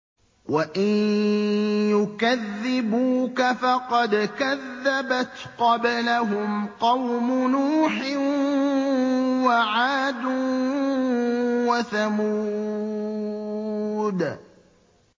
وَإِن يُكَذِّبُوكَ فَقَدْ كَذَّبَتْ قَبْلَهُمْ قَوْمُ نُوحٍ وَعَادٌ وَثَمُودُ